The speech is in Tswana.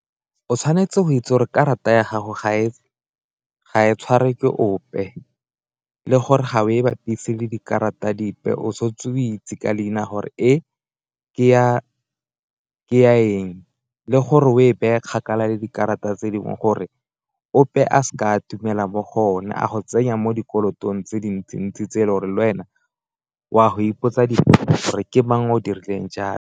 O tshwanetse go itse gore karata ya gago ga e tshwarwe ke ope le gore ga o e bapise le dikarata dipe o setse o itse ka leina gore e ke ya eng le gore o e be e kgakala le dikarata tse dingwe, gore ope a seka atumela mo go yone a go tsenya mo dikolotong tse dintsi-ntsi tse e le gore le wena o a go ipotsa gore ke mang o dirileng jalo.